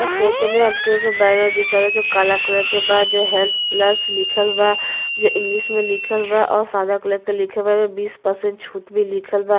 इस photo हमके एगो banner दिखता जो काला कलर के बा जो हेल्थ प्लस लिखल बा जो इंग्लिश मे लिखल बा और सादा कलर के लिखल बावे। बीस परसेंट छूट भी लिखल बा।